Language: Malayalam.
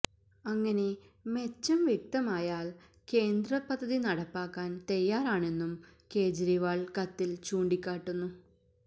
അങ്ങനെ മെച്ചം വ്യക്തമായാല് കേന്ദ്രപദ്ധതി നടപ്പാക്കാന് തയ്യാറാണെന്നും കെജരിവാള് കത്തില് ചൂണ്ടിക്കാട്ടുന്നു